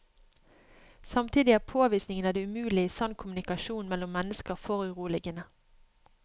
Samtidig er påvisningen av det umulige i sann kommunikasjon mellom mennesker foruroligende.